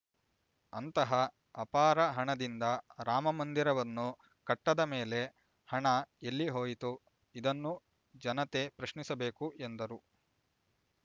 ಅಂತಹ ಅಪಾರ ಹಣದಿಂದ ರಾಮಮಂದಿರವನ್ನು ಕಟ್ಟದ ಮೇಲೆ ಹಣ ಎಲ್ಲಿ ಹೋಯಿತು ಇದನ್ನು ಜನತೆ ಪ್ರಶ್ನಿಸಬೇಕು ಎಂದರು